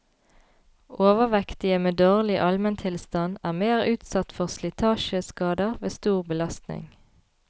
Overvektige med dårlig almentilstand er mer utsatt for slitasjeskader ved stor belastning.